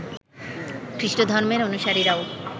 খ্রিষ্ট ধর্মের অনুসারীরাও